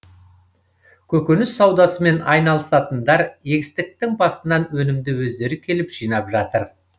көкөніс саудасымен айналысатындар егістіктің басынан өнімді өздері келіп жинап жатыр